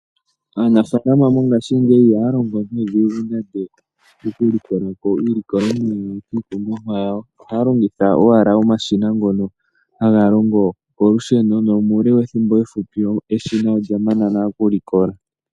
Aanafalama mongashingeyi ihaya longo nuudhigu nande oku likolako iilikolomwa kiikunomwa yawo ohaya longitha omashina ngono haga longo kolusheno nomuule wethimbo efupi eshina olya mana nale oku likola.